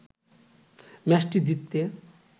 ম্যাচটি জিততে